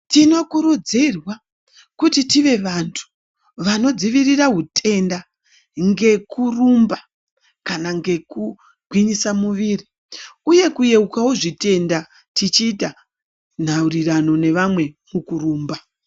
Tinokurudzirwa kuti tive vantu vanodzivirira hutenda ngekurumba kana ngekugwinyisa miviri uye kuyeukawo zvitenda tichiita nhaurirano nevamwe mukurumba.